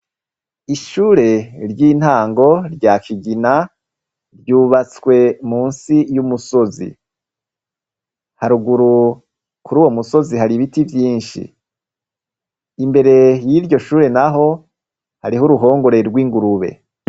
Ishure ry'intango rya kigina ryubatswe mu nsi y'umusozi. Haruguru kuri uwo musozi hari ibiti vyinshi. Imbere y'iryo shure naho hariho uruhongore rw'ingurube.